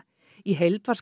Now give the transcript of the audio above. í heild var